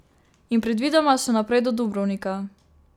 In predvidoma še naprej do Dubrovnika.